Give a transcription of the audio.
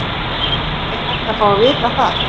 Er hægt að fá að vita það?